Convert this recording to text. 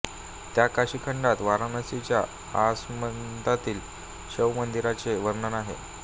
त्या काशीखंडात वाराणसीच्या आसमंतातील शैव मंदिरांचे वर्णन आहे